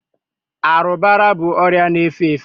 arụbara bụ ọrịa na-efe efe